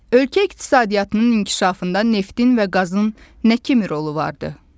Ölkə iqtisadiyyatının inkişafında neftin və qazın nə kimi rolu vardır?